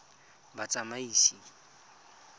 batsamaisi